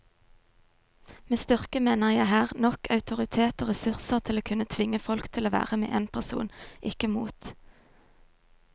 Med styrke mener jeg her nok autoritet og ressurser til å kunne tvinge folk til å være med en person, ikke mot.